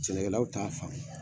Sɛnɛkɛlaw t'a famu.